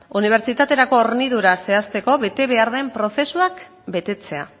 unibertsitaterako hornidura zehazteko betebehar den prozesuak betetzea